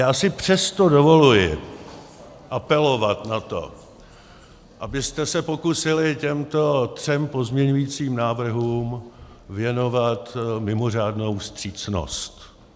Já si přesto dovoluji apelovat na to, abyste se pokusili těmto třem pozměňujícím návrhům věnovat mimořádnou vstřícnost.